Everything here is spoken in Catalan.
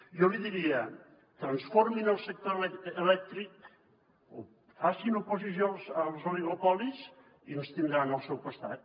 jo li diria transformin el sector elèctric o facin oposició als oligopolis i ens tindran al seu costat